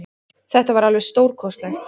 Þetta var alveg stórkostlegt